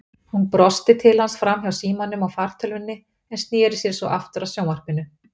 Hún brosti til hans framhjá símanum og fartölvunni en sneri sér svo aftur að sjónvarpinu.